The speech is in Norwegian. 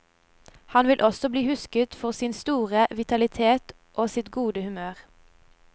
Han vil også bli husket for sin store vitalitet og sitt gode humør.